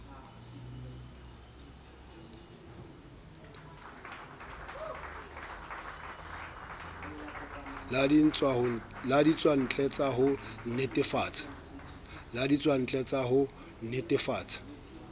la ditswantle sa ho nnetefatsa